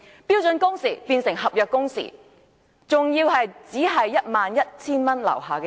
標準工時變成合約工時，還只適用於月薪 11,000 元以下的人。